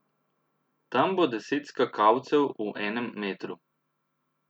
Tam bo deset skakalcev v enem metru.